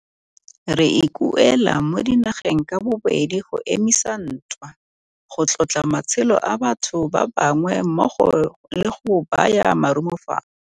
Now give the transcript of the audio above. Re ikuela mo dinageng ka bobedi go emisa ntwa, go tlotla matshelo a batho ba bangwe mmogo le go baya marumo fatshe.